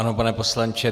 Ano, pane poslanče.